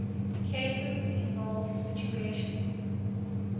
cases involve situations